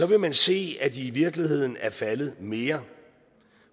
vil man se at de i virkeligheden er faldet mere